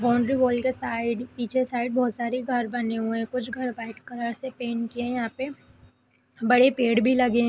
Boundary wall की side पीछे side बहुत सारे घर बने हुए है कुछ घर व्हाइट कलर से पेंट किया यहां पे बड़े पेड़ भी लगे हैं ।